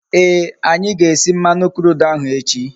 Ee, anyi ga-esi mmanu crude ahu echi